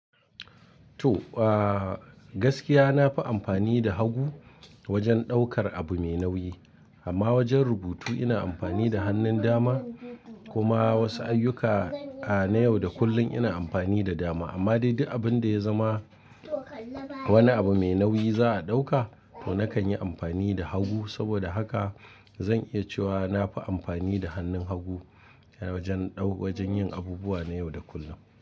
To, uh, gaskiya na fi amfani da hagu wajen ɗaukar abu mai nauyi. Amma wajen rubutu ina amfani da hannun dama. Kuma wasu ayyuka, a, na yau da kullum ina amfani da dama. Amma daidai abin da ya zama wani abu mai nauyi za a ɗauka to nakan yi amfani da hagu. Saboda haka zan iya cewa na fi amfani da hannun hagu wajen, wajen yin abubuwa na yau da kullum.